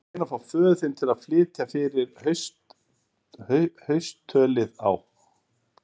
Þú ættir að reyna að fá föður þinn til að flytja fyrir haustölið á